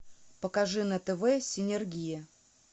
покажи на тв синергия